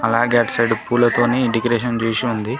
అలాగే అటు సైడ్ పూలతోనే డెకరేషన్ చేసి ఉంది.